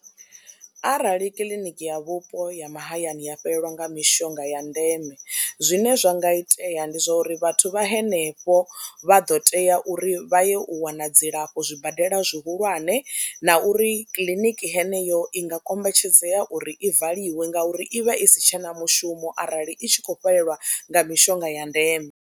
Arali kiḽiniki ya vhupo ha mahayani a fhelelwa nga mishonga ya ndeme zwine zwa nga itea ndi zwa uri vhathu vha henefho vha ḓo tea uri vha ye u wana dzi dzilafho zwibadela zwihulwane na uri kiḽiniki heneyo i nga kombetshedzea uri i valiwe ngauri i vha i si tshe na mushumo arali i tshi khou fhelelwa nga mishonga ya ndeme.